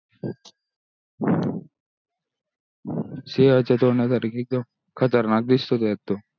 सिंहाचे तोंड सारखी खतरनाक दिसतो त्याचात तो